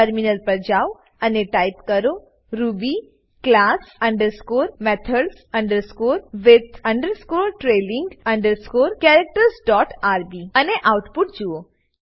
terminal પર જાવ અને ટાઈપ કરો Ruby class underscore methods underscore with underscore trailing underscore characters dot rb અને આઉટપુટ જુઓ